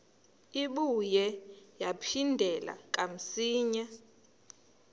ibuye yaphindela kamsinya